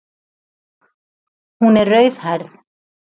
Hún er rauðhærð.